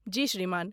जी श्रीमान।